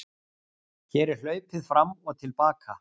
Hér er hlaupið fram og til baka.